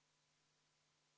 Palun võtta seisukoht ja hääletada!